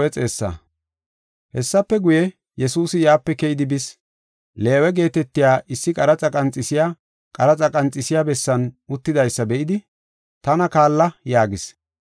Hessafe guye, Yesuusi yaape keyidi bis. Leewe geetetiya issi qaraxa qanxiseysi qaraxa qanxisiya bessan uttidaysa be7idi, “Tana kaalla” yaagis.